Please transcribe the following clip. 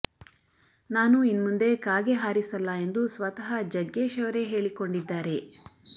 ನಾನು ಇನ್ನುಂದೆ ಕಾಗೆ ಹಾರಿಸಲ್ಲ ಎಂದು ಸ್ವತಃ ಜಗ್ಗೇಶ್ ಅವರೇ ಹೇಳಿಕೊಂಡಿದ್ದಾರೆ